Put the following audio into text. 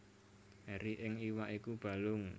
Eri ing iwak iku balung